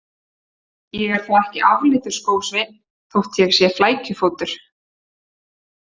Ég er þá ekki afleitur skósveinn þótt ég sé flækjufótur